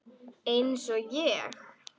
Eins og ég?